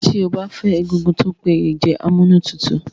Tí o bá fẹ́ egungun tí o péye jẹ amúnútutù